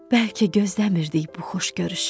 Bəlkə gözləmirdik bu xoş görüşü.